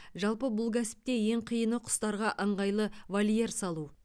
жалпы бұл кәсіпте ең қиыны құстарға ыңғайлы вольер салу